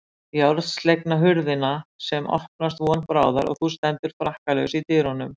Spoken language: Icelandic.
Járnslegna hurðina sem opnast von bráðar og þú stendur frakkalaus í dyrunum.